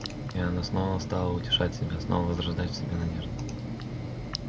и она снова стала утешать себя снова возрождать в себе надежды